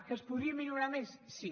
que es podria millorar més sí